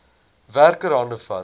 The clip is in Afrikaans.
werker hande vat